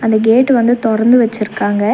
அந்த கேட்டு வந்து தொறந்து வெச்சிர்க்காங்க.